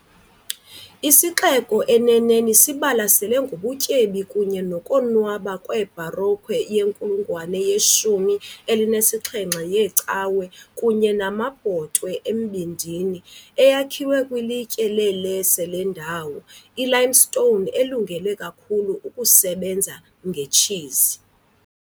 Isixeko, eneneni, sibalasele ngobutyebi kunye nokonwaba kwe-baroque yenkulungwane yeshumi elinesixhenxe yeecawe kunye namabhotwe embindini, eyakhiwe kwilitye le -Lecce lendawo, ilimestone elungele kakhulu ukusebenza ngetshizi.